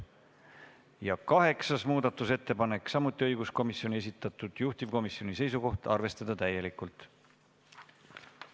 Ja kaheksandagi muudatusettepaneku on esitanud õiguskomisjon, juhtivkomisjoni seisukoht on arvestada seda täielikult.